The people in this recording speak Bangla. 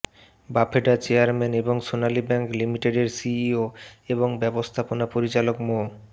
বাফেডার চেয়ারম্যান এবং সোনালী ব্যাংক লিমিটেডের সিইও এবং ব্যবস্থপনা পরিচালক মো